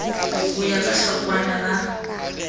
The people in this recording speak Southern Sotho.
ho ya ka hlokwana la